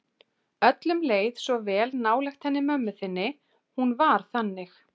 Öllum leið svo vel nálægt henni mömmu þinni, hún var þannig.